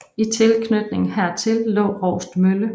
I tilknytning hertil lå Roust mølle